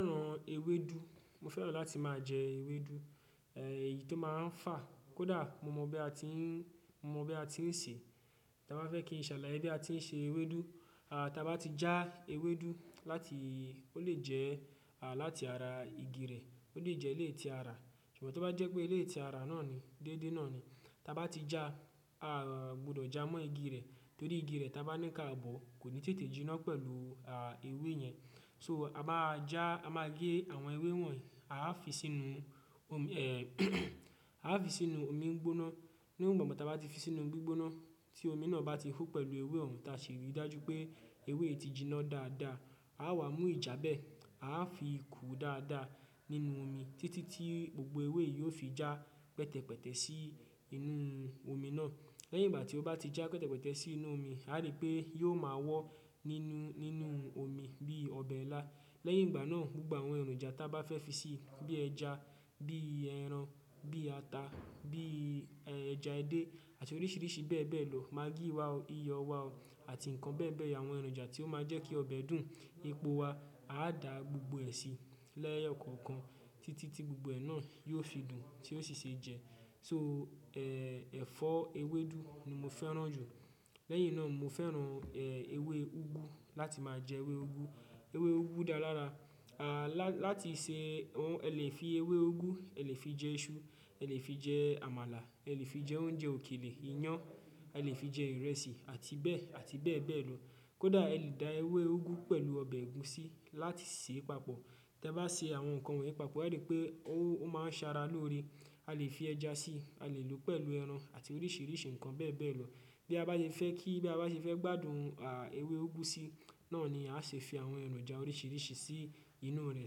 Mo fẹ́ràn ewédú. Mo fẹ́ràn láti máa jẹ ewédú, èyí tó máa ń fà kódà mo mọ̀ bí a ti ń ṣe. Tí a bá fẹ́ kí n ṣàlàyé bí a ti ń se ewédú. A ti bá já ewédú láti, ó lè jẹ́ láti ara igi rẹ̀, ó lè jẹ́ eléyi tí ara. Ṣùgbọ́n tí ó bá jẹ́ pé eléyi ti ara náà ni, déédéé náà ni. Tí a bá ti já, a gbọdọ̀ já mọ́ igi rẹ̀, torí igi rẹ̀ tí a bá ní káàbọ̀ kò ní tètè jiná pẹ̀lú ewé yẹn. So a bá já, a máa gé àwọn ewé wọ̀nyí, a á fi sínú omi gbóná. Ní ìgbà tí a bá ti fi sínú omi gbóná tí omi náà bá ti hú pẹ̀lú ewé òòrùn ta ṣe rí i dájú pé ewé yìí ti jiná dáadáa, a á wá mú ìjàbẹ́ a á fi kú dáadáa nínú omi títí tí gbogbo ewé yìí ó fi já pẹtẹpẹtẹ sí inú omi náà. Lẹ́yìn ìgbà tí ó bá ti já pẹtẹpẹtẹ sí inú omi, a rí pé yóò máa wọ́ nínú, nínú omi bí ọbẹ̀ ńlá. Lẹ́yìn ìgbà náà gbogbo àwọn èròjà tí a bá fẹ́ fi sí i bí ẹja, bí ẹran, bí ata, bí ẹja ẹdẹ àti oríṣìíríṣìí bẹ́ẹ̀ bẹ́ẹ̀ lọ. Magíí wa o, iyọ̀ wa o àti nǹkan bẹ́ẹ̀ bẹ́ẹ̀ lọ, àwọn èròjà tí ó máa jẹ́ kí ọbẹ̀ dùn epò wa, a dá gbogbo ẹ̀ sí lẹ́yo kọ̀ọ̀kan títí tí gbogbo ẹ̀ náà yóò fi dùn tí ó sì ṣe jẹ. So, ẹ̀fọ́ ewédú ni mo fẹ́ràn jù. Lẹ́yìn náà mo fẹ́ràn ewé úgú láti máa jẹ ewé úgú. Ewé úgú dára lára. Láti ṣe òun, ẹ lè fi ewé úgú, ẹ lè fi jẹ iṣu, ẹ lè fi jẹ àmàlà, ẹ lè fi jẹ oúnjẹ òkèlè, iyán, ẹ lè fi jẹ ìrẹsì àti bẹ́ẹ̀, àti bẹ́ẹ̀ bẹ́ẹ̀ lọ. Kódà ẹ lè da ewé úgú pẹ̀lú ọbẹ̀ ẹ̀gúsí láti sèé papọ̀. Tí ẹ bá ṣe àwọn nǹkan wọ̀nyí papọ̀, e rí pé ó máa Sara lóore. A lè fi ẹja sí i, a lè lò ó pẹ̀lú ẹran àti oríṣìíríṣìí nǹkan bẹ́ẹ̀ bẹ́ẹ̀ lọ. Bí a bá ti fẹ́ kí, bí a bá ti fẹ́ gbádùn ewé úgú sí, náà ni a ṣe fi àwọn èròjà oríṣìíríṣìí sí inú rẹ̀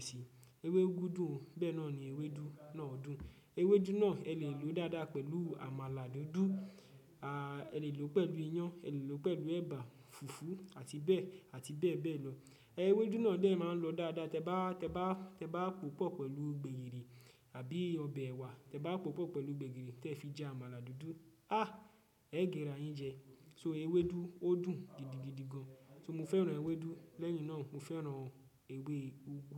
sí i. Ewé úgú dùn, bẹ́ẹ̀ náà ni ewédú náà dùn. Ewédú náà ẹ lè lò ó dáadáa pẹ̀lú àmàlà dúdú, ẹ lè lò ó pẹ̀lú iyán, ẹ lè lò ó pẹ̀lú ẹ̀bà, fùfú àti bẹ́ẹ̀, àti bẹ́ẹ̀ bẹ́ẹ̀ lọ. Ewédú náà bẹ́ẹ̀ máa ń lọ dáadáa. Tẹ bá pòpọ̀ pẹ̀lú gbẹ̀gìrì àbí ọbẹ̀ ẹ̀wà, tẹ bá pòpọ̀ pẹ̀lú gbẹ̀gìrì tí ẹ fi jẹ àmàlà dúdú. Ah! Ẹ gírà yín jẹ. So ewédú ó dùn gidigidi gan. So mo fẹ́ràn ewédú, lẹ́yìn náà mo fẹ́ràn ewé úgú.